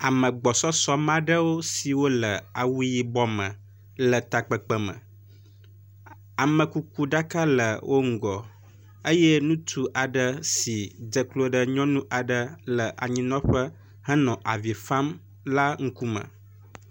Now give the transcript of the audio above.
Ame gbɔsɔsɔ me aɖwo siwo le awu yibɔ me le tekpakpa me. A amekukuɖaka le wo ŋgɔ eye ŋutsu aɖe si dze klo ɖe nyɔnu aɖe le anyinɔƒe henɔ avi fam la ŋkume.